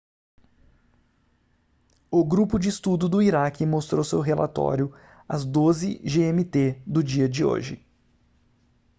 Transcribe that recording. o grupo de estudo do iraque mostrou seu relatório às 12:00 gmt do dia de hoje